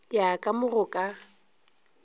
ya ka mo go ka